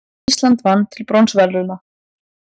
Ísland vann til bronsverðlauna